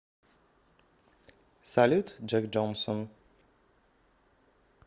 салют джек джонсон